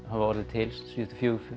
hafa orðið til síðustu fjögur